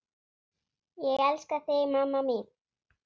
Ég elska þig mamma mín.